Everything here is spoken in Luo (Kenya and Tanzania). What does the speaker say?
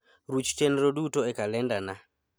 ruch chenro duto e kalendana